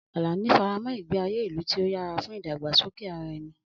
Alani faramọ́ ìgbé ayé ìlú tí ó yára fún ìdàgbàsókè ara ẹni.